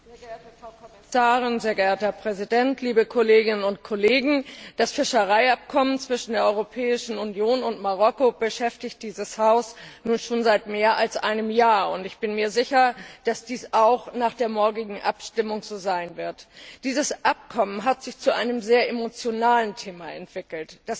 Herr Präsident, sehr geehrte Frau Kommissarin, liebe Kolleginnen und Kollegen! Das Fischereiabkommen zwischen der Europäischen Union und Marokko beschäftigt dieses Haus nun schon seit mehr als einem Jahr. Ich bin mir sicher, dass dies auch nach der morgigen Abstimmung so sein wird. Dieses Abkommen hat sich zu einem sehr emotionalen Thema entwickelt.